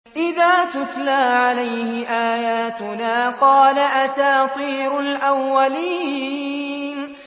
إِذَا تُتْلَىٰ عَلَيْهِ آيَاتُنَا قَالَ أَسَاطِيرُ الْأَوَّلِينَ